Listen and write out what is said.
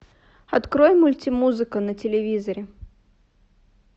открой мультимузыка на телевизоре